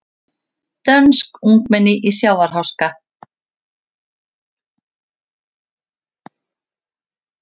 Dönsk ungmenni í sjávarháska